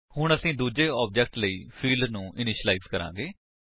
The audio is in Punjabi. ਹੁਣ ਅਸੀ ਦੂੱਜੇ ਆਬਜੇਕਟ ਲਈ ਫਿਲਡ ਨੂੰ ਇਨੀਸ਼ਿਲਾਇਜ ਕਰਾਂਗੇ